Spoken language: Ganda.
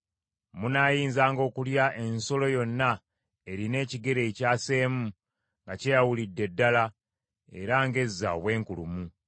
Munaayinzanga okulya ensolo yonna erina ekigere ekyaseemu nga kyeyawulidde ddala, era ng’ezza obwenkulumu.